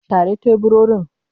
Share teburorin.